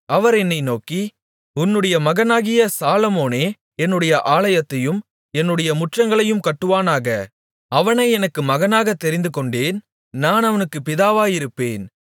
அவர் என்னை நோக்கி உன்னுடைய மகனாகிய சாலொமோனே என்னுடைய ஆலயத்தையும் என்னுடைய முற்றங்களையும் கட்டுவானாக அவனை எனக்கு மகனாகத் தெரிந்துகொண்டேன் நான் அவனுக்கு பிதாவாயிருப்பேன்